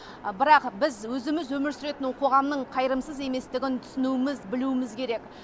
бірақ біз өзіміз өмір сүретін қоғамның қайырымсыз еместігін түсінуіміз білуіміз керек